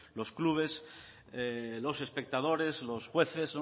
los clubes los espectadores los jueces